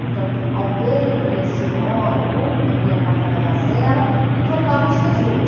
Então, alguém lia a senhora, o outro lia a pata da gazela e trocavam os resumos.